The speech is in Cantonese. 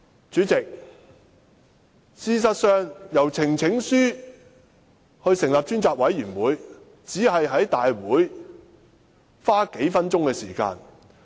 主席，事實上通過提交呈請書成立專責委員會，只在大會花數分鐘時間。